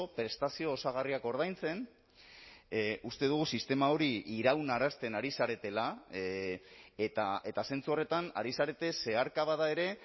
prestazio osagarriak ordaintzen uste dugu sistema hori iraunarazten ari zaretela eta zentzu horretan ari zarete zeharka bada ere